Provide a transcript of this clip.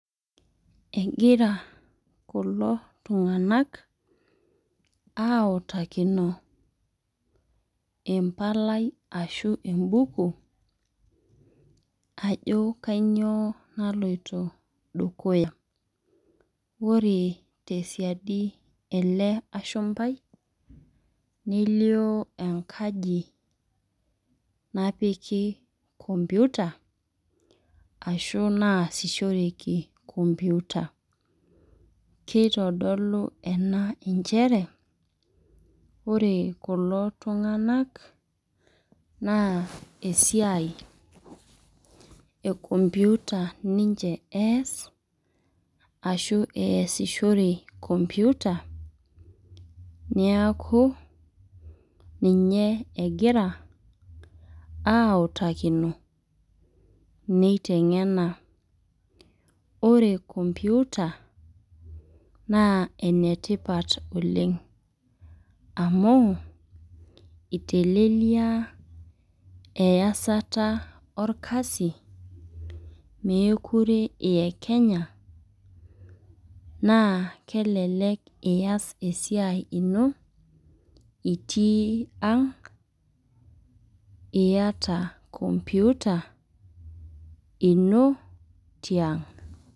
Egira kulo tunganak autakino empalai ashu ebuku ajo kainyioo naloito dukuya. ore tesidai ele ashumpai nelio enkaji napiki computer ashu naasishoreki computer. kitodolu ena nchere ore kulo tunganak naa esiai e computer ninche ees ashu neesishore computer neeku, ninye egira autakino neitengena. ore computer naa enetipat oleng. amu itelelia easta orkasi. meekure iyekenya. naa kelelku iyas esiai ino itii ang. iyata computer ino tiang'.